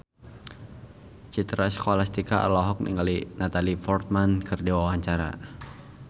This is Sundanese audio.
Citra Scholastika olohok ningali Natalie Portman keur diwawancara